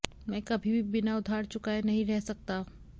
मैं कभी भी बिना उधार चुकाए नहीं रह सकता